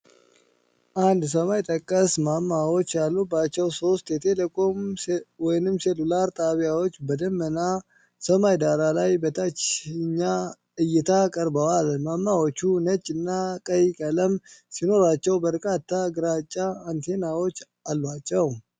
አንድ ሰማይ ጠቀስ ማማዎች ያሉባቸው ሶስት የቴሌኮም/ሴሉላር ጣቢያዎች በደመናማ ሰማይ ዳራ ላይ በታችኛ እይታ ቀርበዋል፡፡ ማማዎቹ ነጭ እና ቀይ ቀለም ሲኖራቸው፣ በርካታ ግራጫ አንቴናዎች አሏቸው፡፡